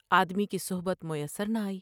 آدمی کی صحبت میسر نہ آئی ۔